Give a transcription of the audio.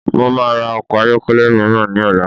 Mo maa ra ọkọ̀ ayọ́kẹ́lẹ́ míràn ní ọ̀la